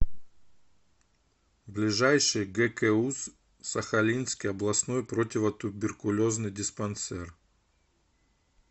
ближайший гкуз сахалинский областной противотуберкулезный диспансер